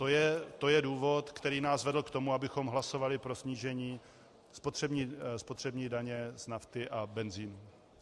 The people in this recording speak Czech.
To je důvod, který nás vedl k tomu, abychom hlasovali pro snížení spotřební daně z nafty a benzinu.